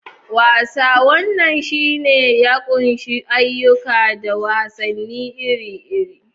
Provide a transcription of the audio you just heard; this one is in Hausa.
Wasa: Wannan sashe ya ƙunshi ayyuka da wasanni iri-iri.